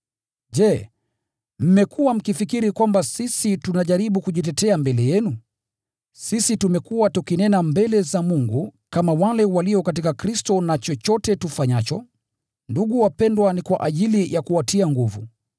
Je, mmekuwa mkifikiri kwamba sisi tunajaribu kujitetea mbele yenu? Sisi tumekuwa tukinena mbele za Mungu kama wale walio katika Kristo. Na chochote tufanyacho, ndugu wapendwa, ni kwa ajili ya kuwatia nguvu.